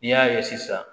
N'i y'a ye sisan